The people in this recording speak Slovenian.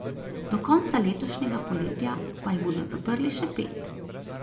Do konca letošnjega poletja pa jih bodo zaprli še pet.